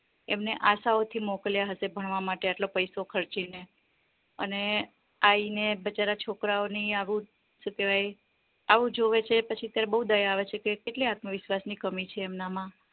એમને આશાઓ થી મોકલ્યા હયશે ભણવા માટે આટલો ખર્ચો કરીને અને આઈને બચારા છોકરાઓ ની આવું શું કેવાય આવું જોવે છે તે પછી ત્યારે બૌ દયા આવે છે કે કેટલી આત્મવિશ્વાસ ની કમી છે એમનામાં